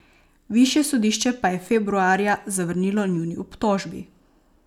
Višje sodišče pa je februarja zavrnilo njuni obtožbi.